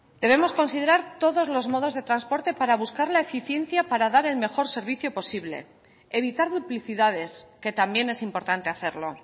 debemos considerar todos los modos de transporte para buscar la eficiencia para dar el mejor servicio posible evitar duplicidades que también es importante hacerlo